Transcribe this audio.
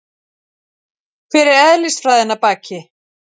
Hver er eðlisfræðin að baki?